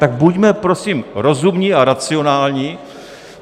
Tak buďme prosím rozumní a racionální.